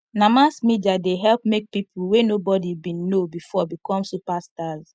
na mass media dey help make people wey nobody been know before become superstars